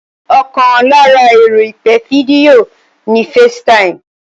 Ọkàn lára ẹ̀rọ ìpè fídíò ni FaceTime